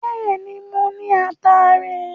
Bẹ́ẹ̀ ni, mo ní ataare.